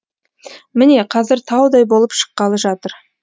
міне қазір таудай болып шыққалы жатыр